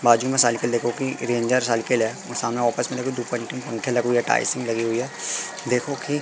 बाजू में साइकिल देखो कि रेंजर साइकिल है और सामने ऑफिस में दुकांठी पंखे लगे हुए हैं टाइल्ससिंग लगी हुई है देखो की--